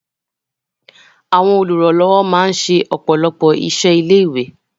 Àwọn olùrànlọ́wọ́ máa ń ṣe ọ̀pọ̀lọpọ̀ iṣẹ́ ilé-ìwé.